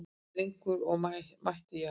Dregur úr mætti Jarls